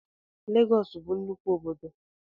Lagos bu nnukwu obodo